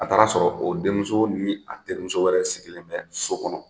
A taar'a sɔrɔ o denmuso ni a terimuso wɛrɛ sigilen bɛ so kɔnɔ